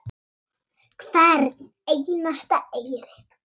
Hvern einasta eyri.